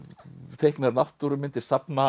teiknar náttúrumyndir